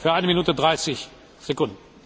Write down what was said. Tisztelt miniszterelnök asszony!